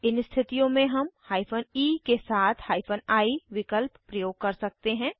इन स्थितियों में हम हाइफन ई के साथ हाइफन आई विकल्प प्रयोग कर सकते हैं